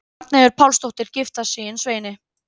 Ragnheiður Pálsdóttir giftist síðan Sveini